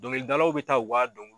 Dɔnkili dalaw bɛ taa o ka dɔn